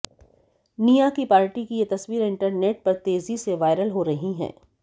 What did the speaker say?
निया की पार्टी की ये तस्वीरें इंटरनेट पर तेजी से वायरल हो रही हैं